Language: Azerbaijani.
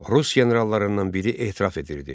Rus generallarından biri etiraf edirdi.